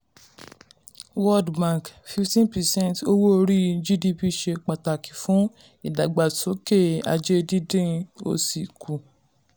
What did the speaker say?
world bank: 15 percent owó orí gdp ṣe pàtàkì fún ìdàgbàsókè ajé dídín òṣì kù.